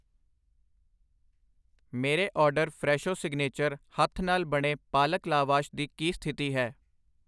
ਮੇਰੇ order Fresho signature ਹੱਥ ਨਾਲ ਬਣੇ ਪਾਲਕ ਲਾਵਾਸ਼ ਦੀ ਕੀ ਸਥਿਤੀ ਹੈ?